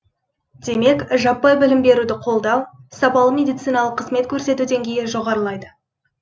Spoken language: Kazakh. демек жаппай білім беруді қолдау сапалы медициналық қызмет көрсету деңгейі жоғарылайды